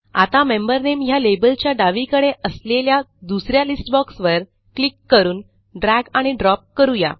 आता मेंबर नामे ह्या लेबलच्या डावीकडे असलेल्या दुस या लिस्ट बॉक्स वर क्लिक करून ड्रॅग आणि ड्रॉप करू या